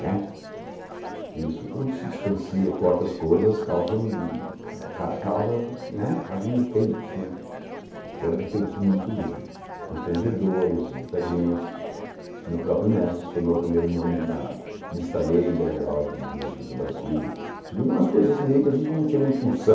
que isso quando se distancia corta as coisas causam ca causa né fazem efeitos tiveram efeitos muito constrangedores em muita gente o meu próprio mestre sonou o primeiro nome da lista negra da ordem dos músicos do Brasil segundo umas coisas meio que a gente não tinha muita noção